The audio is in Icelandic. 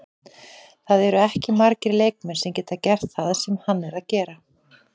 Það eru ekki margir leikmenn sem geta gert það sem hann er að gera.